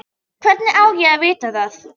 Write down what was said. Hvernig á ég að vita það?